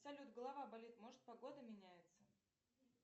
салют голова болит может погода меняется